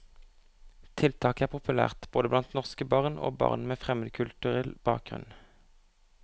Tiltaket er populært både blant norske barn og barn med fremmedkulturell bakgrunn.